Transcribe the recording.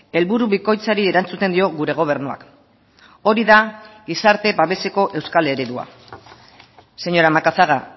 helburu bikoitzari erantzuten dio gure gobernuak hori da gizarte babeseko euskal eredua señora macazaga